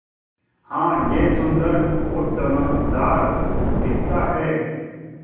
हाँ यह सुन्दर और चमकदार दिखता है